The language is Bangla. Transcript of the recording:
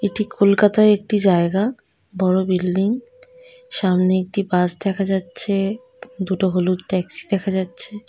এটি কলকাতায় একটি জায়গা বড়ো বিল্ডিং সামনে একটি বাস দেখা যাচ্ছে দুটো হলুদ ট্যাক্সি দেখা যাচ্ছে ।